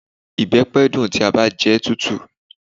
Ìbẹpẹ dun ti a ba jẹun tutu.